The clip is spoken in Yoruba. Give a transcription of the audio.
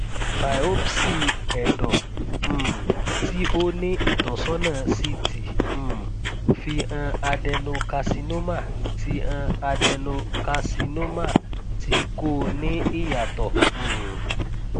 biopsy ẹdọ um ti o ni itọsọna ct um fi han adenocarcinoma ti han adenocarcinoma ti ko ni iyatọ um